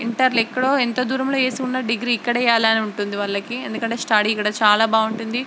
Inter లొ ఎకడో అంత దురమో వేసివున్న డిగ్రీ ఇక్కడే చేయాలని ఉంటుంది వాళ్లకి. ఎందుకంటే స్టడీ ఇక్కడ చాలా బాగుంటుంది.